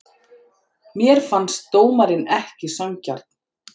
Mér fannst dómarinn ekki sanngjarn.